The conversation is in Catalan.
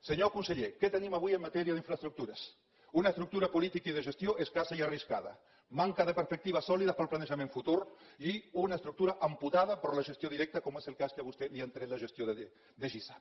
senyor conseller què tenim avui en matèria d’infraestructures una estructura política i de gestió escassa i arriscada manca de perspectives sòlides per al planejament futur i una estructura amputada per la gestió directa com és el cas que a vostè li han tret la gestió de gisa